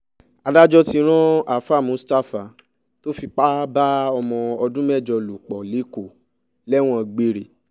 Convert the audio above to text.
adájọ́ ti ran aafàá muistapha tó fipá bá ọmọ ọdún mẹ́jọ lò pọ̀ lẹ́kọ̀ọ́ lẹ́wọ̀n gbére